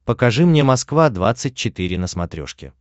покажи мне москва двадцать четыре на смотрешке